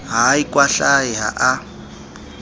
ha a ikwahlahe ha a